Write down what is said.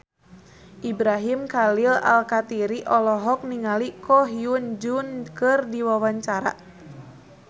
Ibrahim Khalil Alkatiri olohok ningali Ko Hyun Jung keur diwawancara